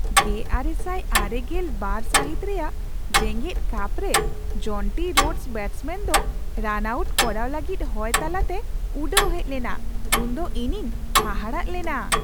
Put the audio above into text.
᱑᱙᱙᱒ ᱥᱟᱹᱦᱤᱛ ᱨᱮᱭᱟᱜ ᱡᱮᱜᱮᱫ ᱠᱟᱯᱨᱮ ᱡᱚᱱᱴᱤ ᱨᱳᱰᱥ ᱵᱮᱴᱥᱢᱮᱱ ᱫᱚ ᱨᱟᱱᱼᱟᱣᱩᱴ ᱠᱚᱨᱟᱣ ᱞᱟᱹᱜᱤᱫ ᱦᱚᱭ ᱛᱟᱞᱟᱛᱮ ᱩᱰᱟᱹᱣ ᱦᱮᱡ ᱞᱮᱱᱟ ᱩᱱᱫᱚ ᱤᱧᱤᱧ ᱦᱟᱦᱟᱲᱟᱜ ᱞᱮᱱᱟ ᱾